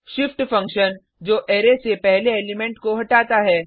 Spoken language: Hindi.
Shift फंक्शन जो अरै से पहले एलिमेंट को हटाता है